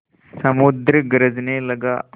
समुद्र गरजने लगा